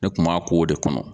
Ne kun b'a ko de kɔnɔ